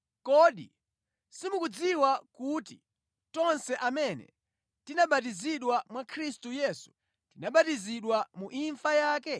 Kodi simukudziwa kuti tonse amene tinabatizidwa mwa Khristu Yesu tinabatizidwa mu imfa yake?